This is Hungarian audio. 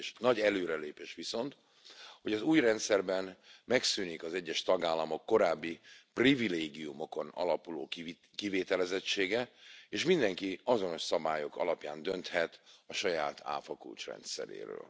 Nagy előrelépés viszont, hogy az új rendszerben megszűnik az egyes tagállamok korábbi privilégiumokon alapuló kivételezettsége, és mindenki azonos szabályok alapján dönthet a saját áfakulcs rendszeréről.